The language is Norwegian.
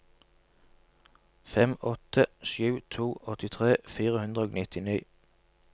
fem åtte sju to åttitre fire hundre og nittini